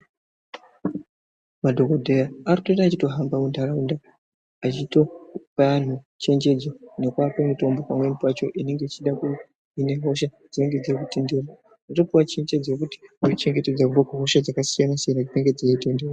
Madhokodheya arutoita echito hamba mu nharaunda achitopa anhu chenjedzo neku ape mutombo pamweni pacho inenge ichida ku hine hosha dzinenge dzeito tenderera oto puwa chenjedzo yekuti uno chengetedzwa kubve ku hosha dzaka siyana siyana dzinenge dzeyi tenderera.